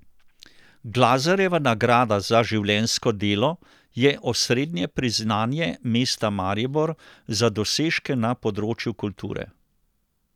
Glazerjeva nagrada za življenjsko delo je osrednje priznanje mesta Maribor za dosežke na področju kulture.